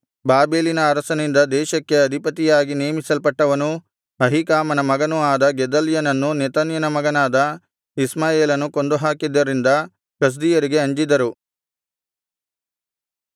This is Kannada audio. ಬಾಬೆಲಿನ ಅರಸನಿಂದ ದೇಶಕ್ಕೆ ಅಧಿಪತಿಯಾಗಿ ನೇಮಿಸಲ್ಪಟ್ಟವನೂ ಅಹೀಕಾಮನ ಮಗನೂ ಆದ ಗೆದಲ್ಯನನ್ನು ನೆತನ್ಯನ ಮಗನಾದ ಇಷ್ಮಾಯೇಲನು ಕೊಂದುಹಾಕಿದ್ದರಿಂದ ಕಸ್ದೀಯರಿಗೆ ಅಂಜಿದರು